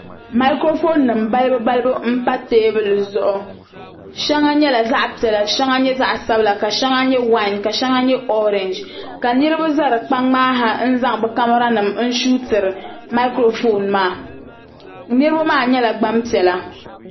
Maakurofon nima balibu balibu m pa teebuli zuɣu sheŋa nyɛ zaɣa piɛla ka sheŋa nyɛ zaɣa dabila sheŋa nyɛ wayin orinji niriba za fi kpaŋ maa ha n zaŋ bɛ kamara nima n suutiri maakurofon maa niriba maa nyɛla gbampiɛla.